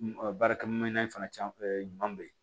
Baarakɛminɛn in fana caman ɲuman bɛ ye